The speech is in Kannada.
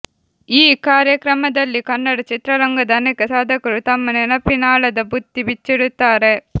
ಈ ಕಾರ್ಯಕ್ರಮದಲ್ಲಿ ಕನ್ನಡ ಚಿತ್ರರಂಗದ ಅನೇಕ ಸಾಧಕರು ತಮ್ಮ ನೆನಪಿನಾಳದ ಬುತ್ತಿ ಬಿಚ್ಚಿಡುತ್ತಾರೆ